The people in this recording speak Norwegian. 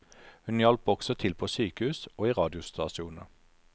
Hun hjalp også til på sykehus og i radiostasjoner.